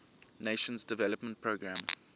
nations development programme